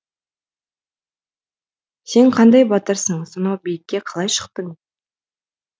сен қандай батырсың сонау биікке қалай шықтың